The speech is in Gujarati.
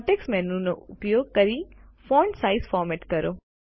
કોન્ટેક્ષ મેનુનો ઉપયોગ કરી ફૉન્ટ સાઈઝ ફોરમેટ કરો